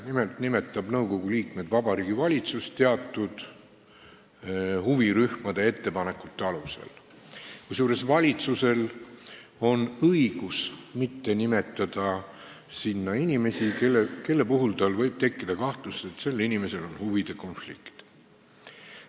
Nimelt nimetab nõukogu liikmed Vabariigi Valitsus teatud huvirühmade ettepanekute alusel, kusjuures valitsusel on õigus mitte nimetada sinna inimesi, kelle kohta võib tekkida kahtlus, et sel inimesel on huvide konflikt.